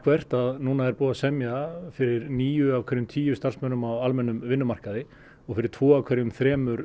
nú er búið að semja fyrir níu af hverjum tíu á almennum vinnumarkaði og fyrir tvo af hverjum þremur